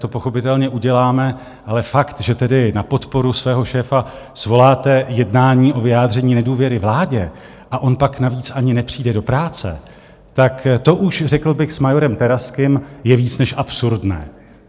To pochopitelně uděláme, ale fakt, že tady na podporu svého šéfa svoláte jednání o vyjádření nedůvěry vládě a on pak navíc ani nepřijde do práce, tak to už, řekl bych s majorem Terazkym, je víc než absurdné.